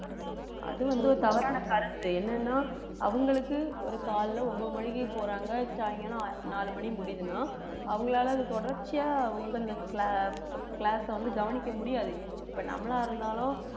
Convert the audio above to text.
அது வந்து ஒரு தவறான கருத்து என்னன்னா அவங்களுக்கு ஒரு காலையிலே ஒன்பது மணிக்கு போறாங்க சாயங்காலம் அஹ் நாலு மணி முடியுதுன்னா அவங்களால தொடர்ச்சியா அவங்களுக்கு அந்த cla~ class அ வந்து கவனிக்க முடியாது இப்ப நம்மளா இருந்தாலும்